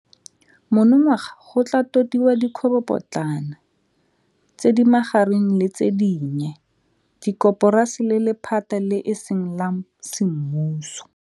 Monongwaga go tla totiwa dikgwebopotlana, tse di magareng le tse dinnye, dikoporasi le lephata le e seng la semmuso.